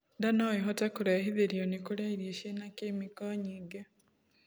Ndaa noĩhote kurehithirio ni kurĩa irio ciĩna chemical nyingĩ